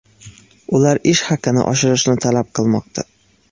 Ular ish haqini oshirishni talab qilmoqda.